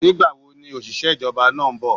Ní gbà wo ni òṣìṣẹ́ ìjọba náà nbò?